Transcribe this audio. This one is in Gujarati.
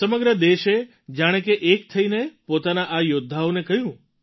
સમગ્ર દેશે જાણે કે એક થઈને પોતાના આ યૌદ્ધાઓને કહ્યું